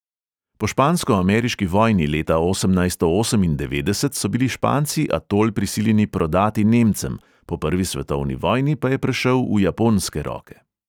Po špansko-ameriški vojni leta osemnajsto osemindevetdeset so bili španci atol prisiljeni prodati nemcem, po prvi svetovni vojni pa je prešel v japonske roke.